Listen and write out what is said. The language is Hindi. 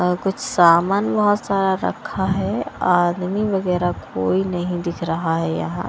अ कुछ सामान बहुत सारा रखा है आदमी वगैरह कोई नहीं दिख रहा है यहाँ --